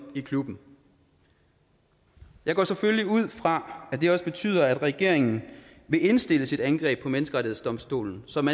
i klubben jeg går selvfølgelig ud fra at det også betyder at regeringen vil indstille sit angreb på menneskerettighedsdomstolen som